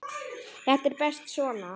Þetta er best svona.